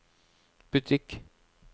butikk